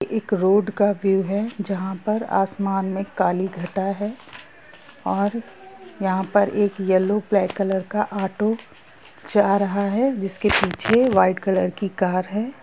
एक road view है जहाँ पर आसमान में काली घटा है और यहाँ पे एक येलो ब्लैक कलर ऑटो जा रहा है जिस के पीछे वाइट कलर की कार है।